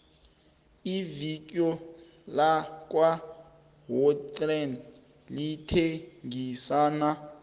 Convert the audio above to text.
ivikui lakwa woolworths lithengisani